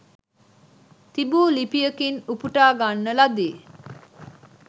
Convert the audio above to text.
තිබු ලිපියකින් උපුටා ගන්න ලදී